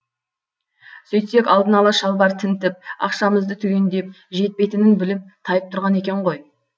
сөйтсек алдын ала шалбар тінтіп ақшамызды түгендеп жетпейтінін біліп тайып тұрған екен ғой